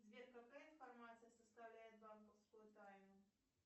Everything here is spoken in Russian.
сбер какая информация составляет банковскую тайну